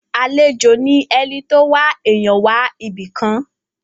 Àlejò ni ẹni tó wá èèyàn wá ibìkan.